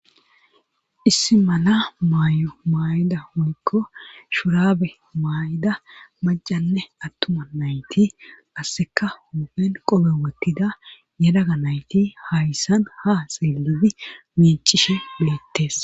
issi mala maayo maay7ida unikko shurabe maay7ida macanne attuma nayti asseka hupen qobe wottida yadaga nayti hayssan ha silidi miicishe bettes